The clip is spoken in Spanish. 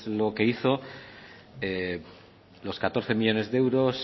lo que hizo los catorce millónes de euros